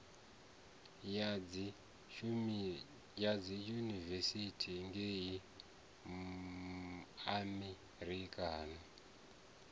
ya dziyunivesithi ngei amerika no